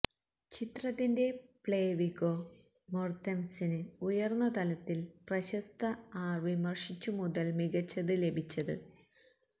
ചിത്രത്തിന്റെ play Viggo Mortensen ഉയർന്ന തലത്തിൽ പ്രശസ്ത ആർ വിമർശിച്ചു മുതൽ മികച്ചത് ലഭിച്ചത്